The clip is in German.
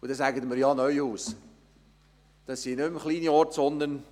Daraufhin könnten Sie einwenden: «Herr Neuhaus, das sind keine kleinen Ortschaften mehr!